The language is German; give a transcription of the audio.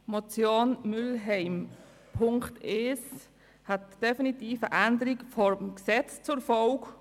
Punkt 1 der Motion Mühlheim hätte definitiv eine Gesetzesänderung zur Folge.